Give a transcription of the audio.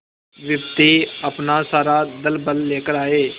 विपत्ति अपना सारा दलबल लेकर आए